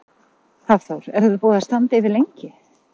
Hafþór: Er þetta búið að standa yfir lengi?